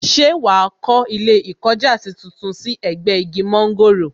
Ṣé wàá kó ilé ìkọjásí tuntun sí ẹ̀gbẹ́ igi mọ́ńgòrò